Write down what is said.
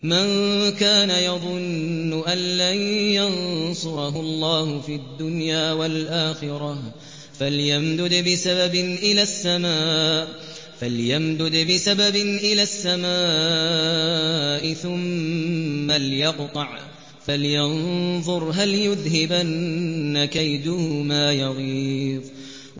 مَن كَانَ يَظُنُّ أَن لَّن يَنصُرَهُ اللَّهُ فِي الدُّنْيَا وَالْآخِرَةِ فَلْيَمْدُدْ بِسَبَبٍ إِلَى السَّمَاءِ ثُمَّ لْيَقْطَعْ فَلْيَنظُرْ هَلْ يُذْهِبَنَّ كَيْدُهُ مَا يَغِيظُ